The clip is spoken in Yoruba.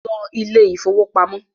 ló Ilé ìfowópamọ́!